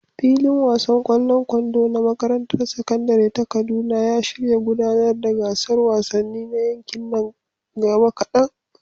Filin wasan ƙwallon kwando na makarantar sakandare ta Kaduna ya shirya gudanar da gasar wasanni na yankin nan gaba kadan.